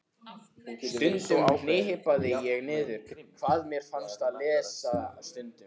Stundum hripaði ég niður hvað mér fannst á lesandi stundu.